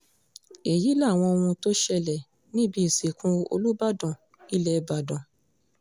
èyí làwọn ohun tó ṣẹlẹ̀ níbi ìsìnkú olùbàdàn ilẹ̀ ìbàdàn